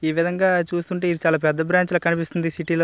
ఈ విధంగా చూస్తుంటే ఇవి చాలా పెద్ద బ్రాంచ్ లాగా కనిపిస్తుంది సిటీ లో --